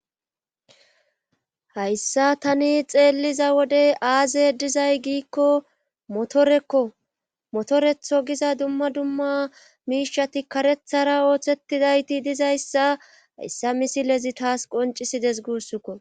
hayssa tani xeelliza wodey aaze dizay giikko motorekko motoretho giza dumma dumma miishati karethara ooththetidayti dizayssa hayssa misilezi taas qoncisides gussukko